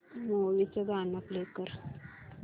movie चं गाणं play कर